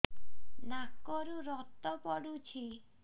ନାକରୁ ରକ୍ତ ପଡୁଛି